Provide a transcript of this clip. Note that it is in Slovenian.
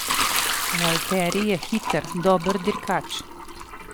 Valtteri je hiter, dober dirkač.